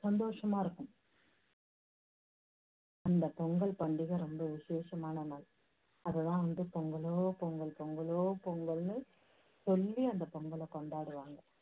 சந்தோஷமா இருக்கும். அந்த பொங்கல் பண்டிகை ரொம்ப விஷேஷமான நாள். அதை தான் வந்து பொங்கலோ பொங்கல், பொங்கலோ பொங்கல்னு சொல்லி அந்த பொங்கலை கொண்டாடுவாங்க.